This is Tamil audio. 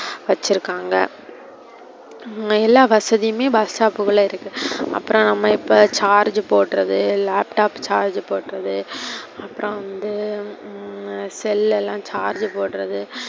வெச்சிருக்காங்க எல்லா வசதியுமே bus stop குள்ள இருக்கு. அப்புறோ நம்ம இப்ப charge போடுறது, laptop charge போடுறது, அப்புறோ வந்து உம் cell ல எல்லாம் charge போடுறது.